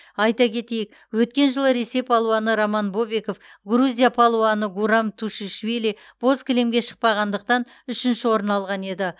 айта кетейік өткен жылы ресей палуаны роман бобиков грузия палуаны гурам тушишвили боз кілемге шықпағандықтан үшінші орын алған еді